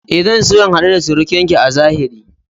E, zan so in hadu da surukinki a zahiri.